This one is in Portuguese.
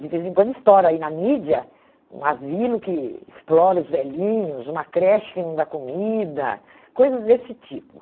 De vez em quando estoura aí na mídia um asilo que explora os velhinhos, uma creche que não dá comida, coisas desse tipo.